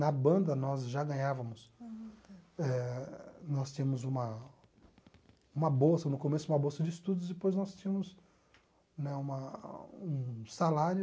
Na banda, nós já ganhávamos eh... Nós tínhamos uma uma bolsa, no começo uma bolsa de estudos, depois nós tínhamos né uma um salário...